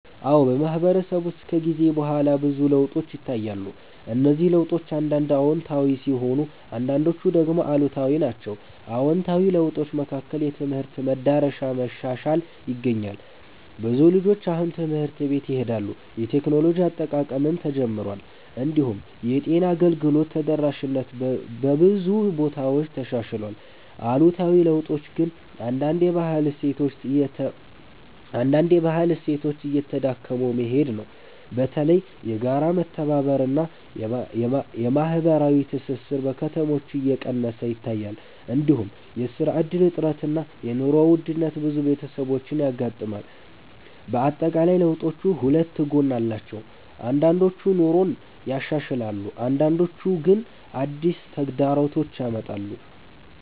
አዎ፣ በማህበረሰብ ውስጥ ከጊዜ በኋላ ብዙ ለውጦች ይታያሉ። እነዚህ ለውጦች አንዳንድ አዎንታዊ ሲሆኑ አንዳንዶቹ ደግሞ አሉታዊ ናቸው። አዎንታዊ ለውጦች መካከል የትምህርት መዳረሻ መሻሻል ይገኛል። ብዙ ልጆች አሁን ትምህርት ቤት ይሄዳሉ፣ የቴክኖሎጂ አጠቃቀምም ተጨምሯል። እንዲሁም የጤና አገልግሎት ተደራሽነት በብዙ ቦታዎች ተሻሽሏል። አሉታዊ ለውጦች ግን አንዳንድ የባህል እሴቶች እየተዳከሙ መሄድ ነው። በተለይ የጋራ መተባበር እና የማህበራዊ ትስስር በከተሞች እየቀነሰ ይታያል። እንዲሁም የስራ እድል እጥረት እና የኑሮ ውድነት ብዙ ቤተሰቦችን ያጋጥማል። በአጠቃላይ ለውጦቹ ሁለት ጎን አላቸው፤ አንዳንዶቹ ኑሮን ያሻሽላሉ አንዳንዶቹ ግን አዲስ ተግዳሮቶች ያመጣሉ።